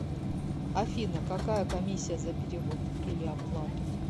афина какая комиссия за перевод или оплату